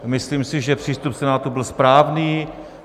Myslím si, že přístup Senátu byl správný.